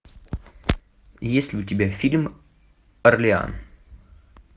есть ли у тебя фильм орлеан